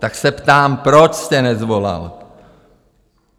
Tak se ptám, proč jste nesvolal?